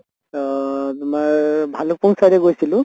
অহ তোমাৰ ভালুক্পুং side য়ে গৈছিলো